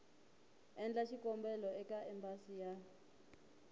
endla xikombelo eka embasi ya